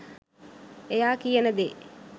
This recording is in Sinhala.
එයා කියන දේ